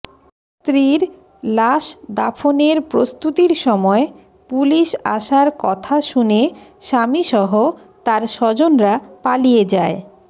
স্ত্রীর লাশ দাফনের প্রস্তুতির সময় পুলিশ আসার কথা শুনে স্বামীসহ তার স্বজনরা পালিয়ে যায়